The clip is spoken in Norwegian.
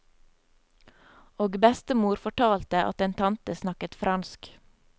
Og bestemor fortalte at en tante snakket fransk.